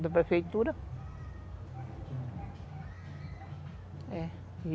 da prefeitura.